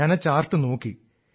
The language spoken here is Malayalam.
ഞാൻ ആ ചാർട്ട് നോക്കി